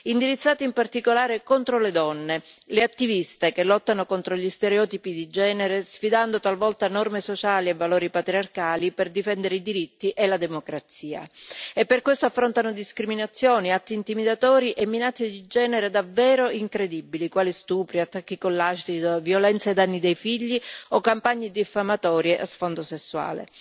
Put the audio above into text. indirizzati in particolare contro le donne, le attiviste che lottano contro gli stereotipi di genere, sfidando talvolta norme sociali e valori patriarcali per difendere i diritti e la democrazia, e per questo affrontano discriminazioni e atti intimidatori e minacce di genere davvero incredibili, quali stupri, attacchi con l'acido, violenze ai danni dei figli o campagne diffamatorie a sfondo sessuale.